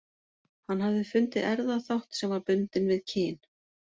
Hann hafði fundið erfðaþátt sem var bundinn við kyn.